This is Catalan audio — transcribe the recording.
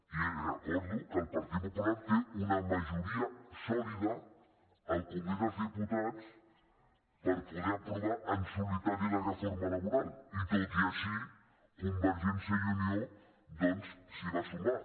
i recordo que el partit popu·lar té una majoria sòlida al congrés dels diputats per poder aprovar en solitari la reforma laboral i tot i així convergència i unió doncs s’hi va sumar